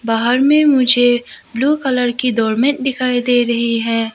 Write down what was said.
बाहर में मुझे ब्लू कलर की डॉर्मेट दिखाई दे रही है।